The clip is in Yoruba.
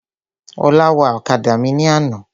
Ọlá wa ọ̀kadà mi ní àná.